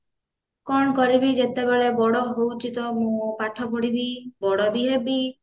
କଣ କରିବି ଯେତେବେଳେ ବଡ ହଉଛି ତ ମୁଁ ପାଠ ପଢିବି ବଡବି ହେବି